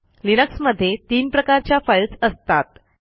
Linux मध्ये तीन प्रकारच्या फाईल्स असतात